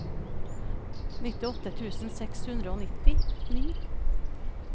nittiåtte tusen seks hundre og nittini